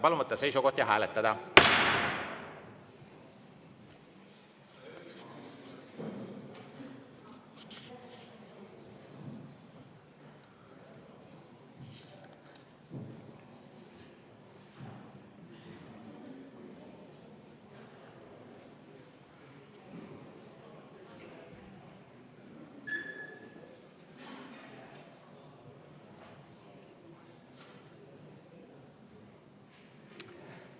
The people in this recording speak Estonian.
Palun võtta seisukoht ja hääletada!